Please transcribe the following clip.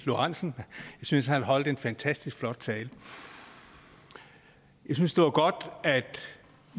lorentzen jeg synes han holdt en fantastisk flot tale jeg synes det var godt at